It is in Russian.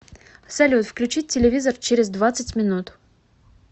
салют включить телевизор через двадцать минут